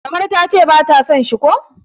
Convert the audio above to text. kamar ta ce ba ta son shi ko?